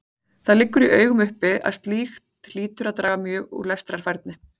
Það liggur í augum uppi að slíkt hlýtur að draga mjög úr lestrarfærni.